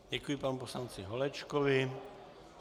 Děkuji panu poslanci Holečkovi.